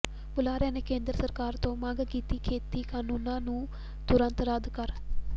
ਬੁਲਾਰਿਆਂ ਨੇ ਕੇਂਦਰ ਸਰਕਾਰ ਤੋਂ ਮੰਗ ਕੀਤੀ ਖੇਤੀ ਕਾਨੂੰਨਾਂ ਨੂੰ ਤੁਰੰਤ ਰੱਦ ਕਰ